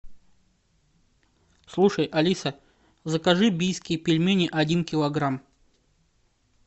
слушай алиса закажи бийские пельмени один килограмм